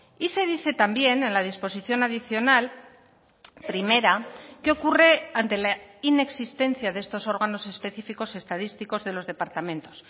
y se dice también en la disposición adicional primera qué ocurre ante la inexistencia de estos órganos específicos estadísticos de los departamentos